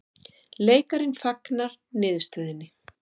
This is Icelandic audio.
Leikarinn fagnar niðurstöðunni